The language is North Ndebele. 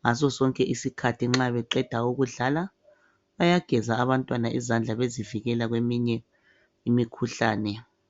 ngaso sonke isikhathi nxa beqeda ukudlala bayageza abantwana izandla bezivikela kweminye imikhuhlane.